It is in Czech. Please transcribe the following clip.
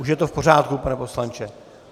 Už je to v pořádku, pane poslanče?